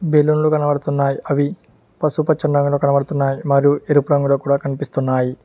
బెలూన్లు కనబడుతున్నాయి అవి పసుపు పచ్చని రంగులో కనబడుతున్నాయి మరియు ఎరుపు రంగులో కూడా కనిపిస్తున్నాయి.